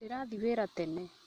Ndĩrathi wĩra tene